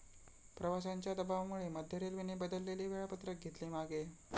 प्रवाशांच्या दबावामुळे मध्य रेल्वेने बदलेले वेळापत्रक घेतले मागे